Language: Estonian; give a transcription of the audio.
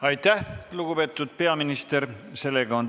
Aitäh, lugupeetud peaminister!